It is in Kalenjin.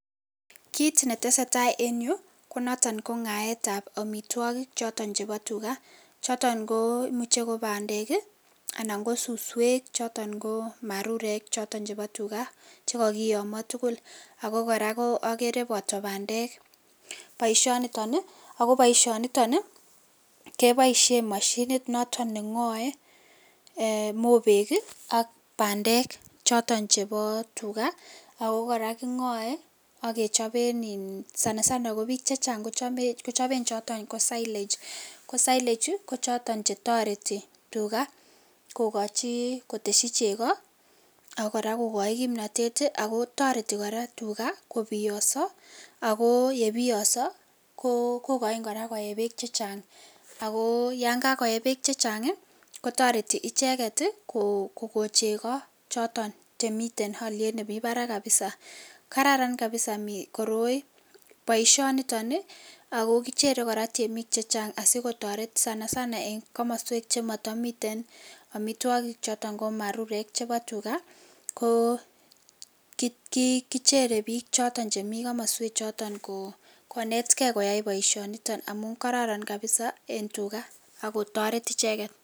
Kit netesee taa en yu konoton ngaetab omitwogik choton chebo tugaa, choton koimuche kobandek ii anan ko suswek choton ko marurek choton chebo tugaa chekokiyomo tugul , ako koraa okere boto bandek boishoniton, ako boishoniton keboisien moshinit noto nengoe mobek ii ak bandek choton chebo tugaa, ako koraa kingoe ak kechoben ii sana sana kobik chechang kochoben choton ko silage , ko silage oi kochoton chetoreti tugaa kokochi koteshi cheko ak koraa kokoi kimnotet ii akotoreti koraa tugaa kobioso ako yebiyoso kokochin koyee beek chechang, ako yon kakoyee beek chechang ii kotoreti icheket kokon cheko choton chemiten oliet nemi barak kabisa, kararan kabisa koroi , boishoniton ii ako kichere temik chechang asikotoret sana sana en komoswek chemotomiten omitwogik choton ko marurek chebo tugaa ko kichere bik choton chemi komoswek choton konetkee koyai boishoniton amun kororon kabisa en tugaa akotoret icheket